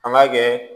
An b'a kɛ